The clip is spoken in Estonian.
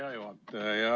Hea juhataja!